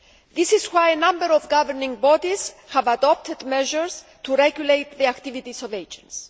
This is why a number of governing bodies have adopted measures to regulate the activities of agents.